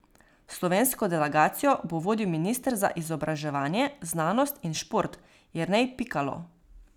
Slovensko delegacijo bo vodil minister za izobraževanje, znanost in šport Jernej Pikalo.